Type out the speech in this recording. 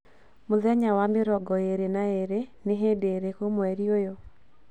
muthenya wa mĩrongo ĩĩrĩ na ĩĩrĩ ni hĩndĩ ĩrĩkũ mweri ũyũ